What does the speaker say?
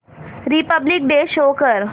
Republic day show कर